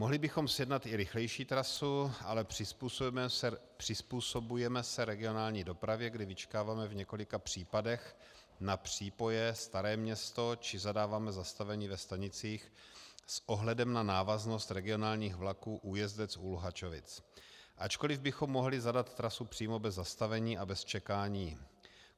Mohli bychom sjednat i rychlejší trasu, ale přizpůsobujeme se regionální dopravě, kdy vyčkáváme v několika případech na přípoje Staré Město či zadáváme zastavení ve stanicích s ohledem na návaznost regionálních vlaků Újezdec u Luhačovic, ačkoliv bychom mohli zadat trasu přímo bez zastavení a bez čekání.